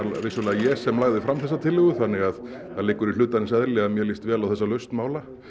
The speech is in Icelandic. ég sem lagði fram þessa tillögu þannig að það liggur í hlutarins eðli að mér líst vel á þessa lausn mála